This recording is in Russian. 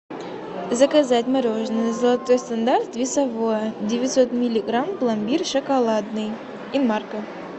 заказать мороженое золотой стандарт весовое девятьсот миллиграмм пломбир шоколадный инмарко